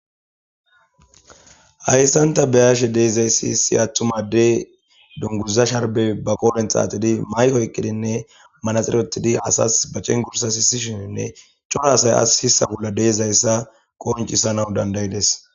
Hayssanta beyashe deeizayssi si atthumadey dungurza sharbe ba qoolen xaaxidi maykoy eqqidinne manaxirotidi asas bacen gursa hissishininne cora asay as hissa bolla deezayssa kooncisana dandayides